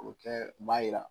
O tɛ b'a jira